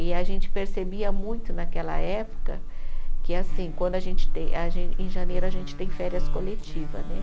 E a gente percebia muito naquela época que, assim, quando a gente tem, a gen, em janeiro a gente tem férias coletiva, né?